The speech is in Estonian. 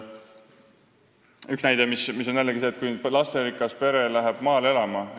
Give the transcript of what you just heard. Üks näide on see, kui lasterikas pere läheb maale elama.